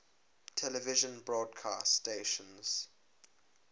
television broadcast stations